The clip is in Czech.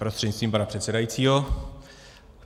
Prostřednictvím pana předsedajícího.